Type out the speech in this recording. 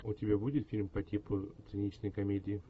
у тебя будет фильм по типу циничной комедии